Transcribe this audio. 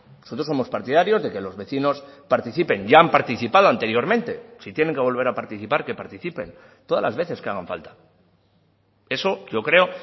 nosotros somos partidarios de que los vecinos participen ya han participado anteriormente si tienen que volver a participar que participen todas las veces que hagan falta eso yo creo